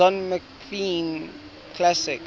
don mclean classics